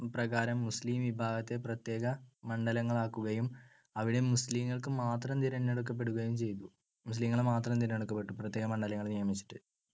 പ്രകാരം മുസ്ലീം വിഭാഗത്തെ പ്രത്യേക മണ്ഡലങ്ങളാക്കുകയും അവിടെ മുസ്‌ലീങ്ങൾക്ക് മാത്രം തിരഞ്ഞെടുക്കപ്പെടുകയും ചെയ്തു. പ്രത്യേക മുസ്‌ലീങ്ങൾ മാത്രം തിരഞ്ഞെടുക്കപ്പെട്ടു പ്രത്യേക മണ്ഡലങ്ങൾ നിയമിച്ചിട്ട്.